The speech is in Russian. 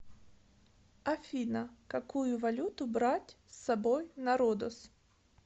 афина какую валюту брать с собой на родос